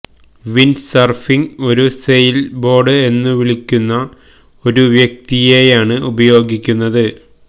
windsurfing ഒരു sail board എന്നു വിളിക്കുന്ന ഒരു വ്യക്തിയെയാണ് ഉപയോഗിക്കുന്നത്